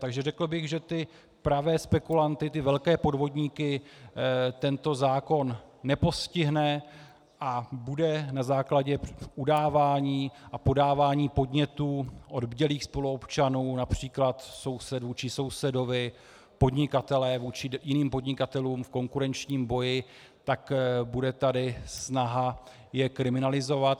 Takže řekl bych, že ty pravé spekulanty, ty velké podvodníky, tento zákon nepostihne a bude na základě udávání a podávání podnětů od bdělých spoluobčanů, například sousedů či sousedovi, podnikatelé vůči jiným podnikatelům v konkurenčním boji, tak bude tady snaha je kriminalizovat.